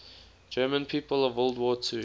german people of world war ii